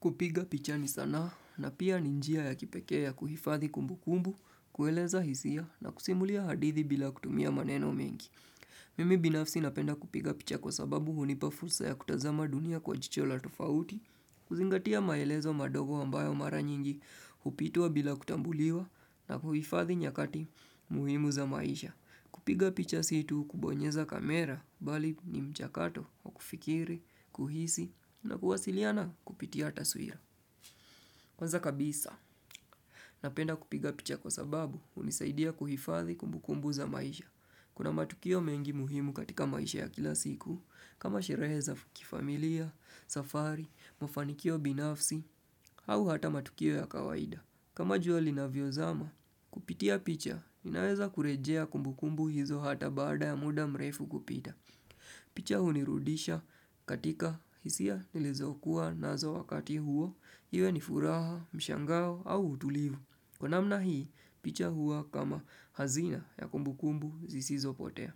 Kupiga picha ni sanaa na pia ninjia ya kipekea ya kuhifadhi kumbukumbu, kueleza hisia na kusimulia hadithi bila kutumia maneno mengi. Mimi binafsi napenda kupiga picha kwa sababu hunipa fursa ya kutazama dunia kwa jicho la tofauti, kuzingatia maelezo madogo ambayo mara nyingi, hupitwa bila kutambuliwa na kuhifadhi nyakati muhimu za maisha. Kupiga picha si tu kubonyeza kamera bali ni mchakato wa kufikiri, kuhisi na kuwasiliana kupitia taswira. Kwanza kabisa, napenda kupiga picha kwa sababu hunisaidia kuhifadhi kumbukumbu za maisha. Kuna matukio mengi muhimu katika maisha ya kila siku kama shirehe za kifamilia, safari, mafanikio binafsi au hata matukio ya kawaida. Kama jua linavyo zama, kupitia picha, ninaweza kurejea kumbu kumbu hizo hata baada ya muda mrefu kupita. Picha hunirudisha katika hisia nilizokuwa nazo wakati huo, iwe ni furaha, mshangao au utulivu. Kwa namna hii, picha huwa kama hazina ya kumbu kumbu zisizo potea.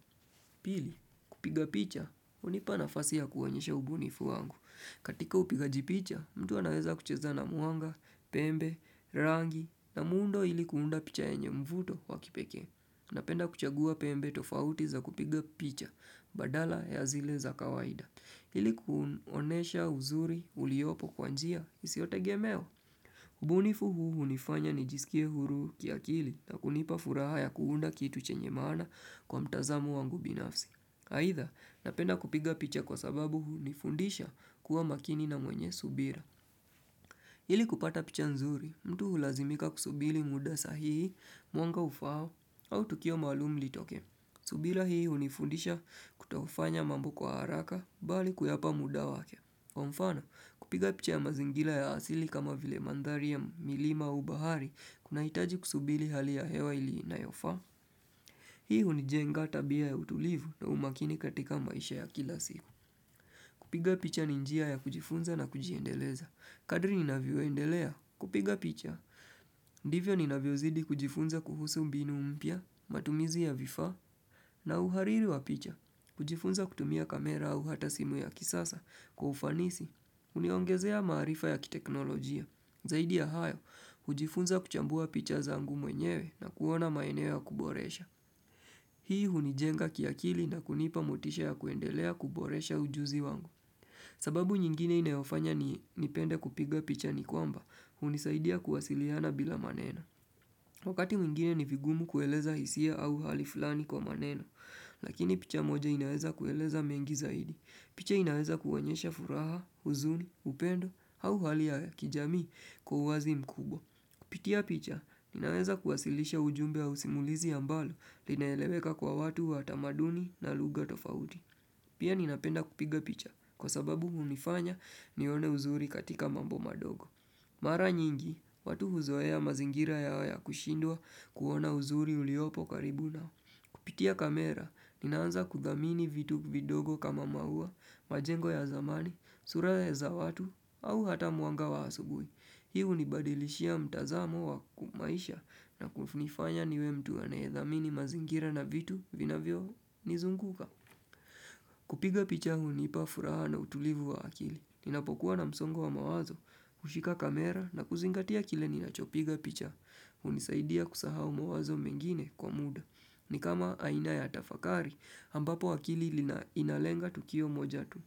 Pili, kupiga picha, hunipa nafasi ya kuonyesha ubunifu wangu. Katika upigajipicha, mtu anaweza kucheza na mwanga, pembe, rangi na muundo ili kuunda picha yenye mvuto wa kipeke. Napenda kuchagua pembe tofauti za kupiga picha, badala ya zile za kawaida. Ili kuonesha uzuri uliopo kwa njia, isio tegemeo. Ubunifu huu nifanya nijisikie huru kiakili na kunipa furaha ya kuunda kitu chenye maana kwa mtazamo wangu binafsi. Aidha, napenda kupiga picha kwa sababu hunifundisha kuwa makini na mwenye subira. Ili kupata picha nzuri, mtu hulazimika kusubiri muda sahihi, muanga ufaao, au tukio maalumu litokee. Subira hii hunifundisha kutofanya mambo kwa haraka, bali kuyapa muda wake. Mfano, kupiga picha ya mazingira ya asili kama vile mandhari ya milima au bahari, kunaitaji kusubiri hali ya hewa ili inayofaa. Hii hunijenga tabia ya utulivu na umakini katika maisha ya kila siku. Kupiga picha ni njia ya kujifunza na kujiendeleza. Kadri ninavyoendelea, kupiga picha. Ndivyo ninavyozidi kujifunza kuhusu mbinu mpya, matumizi ya vifaa na uhariri wa picha. Kujifunza kutumia kamera au hata simu ya kisasa kwa ufanisi. Uniongezea maarifa ya kiteknolojia. Zaidi ya hayo, hujifunza kuchambua picha zangu mwenyewe na kuona maeneo ya kuboresha. Hii hunijenga kiakili na kunipa motisha ya kuendelea kuboresha ujuzi wangu. Sababu nyingine inayofanya ni nipende kupiga picha ni kwamba, hunisaidia kuwasiliana bila maneno. Wakati mwingine ni vigumu kueleza hisia au hali fulani kwa maneno, lakini picha moja inaeza kueleza mengi zaidi. Picha inaeza kuwaonyesha furaha, huzuni, upendo, au hali ya kijamii kwa uwazi mkubwa. Kupitia picha, ninaweza kuwasilisha ujumbe au simulizi ambalo linaeleweka kwa watu wa tamaduni na lugha tofauti. Pia ninapenda kupiga picha, kwa sababu hunifanya nione uzuri katika mambo madogo. Mara nyingi, watu huzoea mazingira yao ya kushindwa kuona uzuri uliopo karibu nao. Kupitia kamera, ninaanza kuthamini vitu vidogo kama maua, majengo ya zamani, sura za watu, au hata mwanga wa asubui. Hii hunibadilishia mtazamo wa kimaisha na kunifanya niwe mtu anayethamini mazingira na vitu vinavyo nizunguka. Kupiga picha hunipa furaha na utulivu wa akili. Ninapokuwa na msongo wa mawazo, hushika kamera na kuzingatia kile ninachopiga picha. Hunisaidia kusahau mawazo mengine kwa muda. Ni kama aina ya tafakari, ambapo akili inalenga tukio moja tu.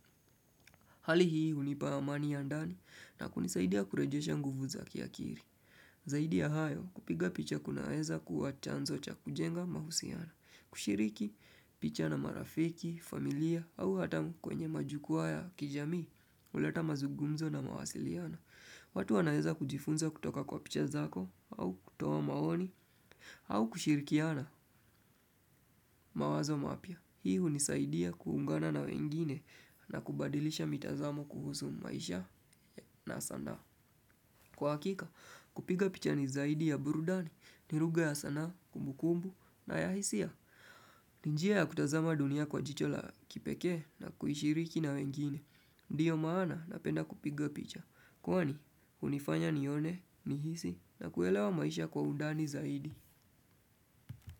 Hali hii hunipa amani ya ndani na kunisaidia kurejesha nguvu za kiakili. Zaidi ya hayo kupiga picha kunaeza kua chanzo cha kujenga mahusiano. Kushiriki picha na marafiki, familia au hata kwenye majukuwa ya kijamii huleta mazungumzo na mawasiliano. Watu wanaeza kujifunza kutoka kwa picha zako au kutowa maoni au kushirikiana mawazo mapya. Hii unisaidia kuungana na wengine na kubadilisha mitazamo kuhusu maisha na sanaa. Kwa hakika, kupiga picha ni zaidi ya burudani, ni lugha ya sanaa, kumbukumbu na ya hisia. Ni njia ya kutazama dunia kwa jicho la kipeke na kuishiriki na wengine. Ndiyo maana napenda kupiga picha. Kwani, hunifanya nione, nihisi na kuelewa maisha kwa undani zaidi.